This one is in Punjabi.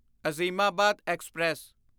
ਅਜ਼ੀਮਾਬਾਦ ਐਕਸਪ੍ਰੈਸ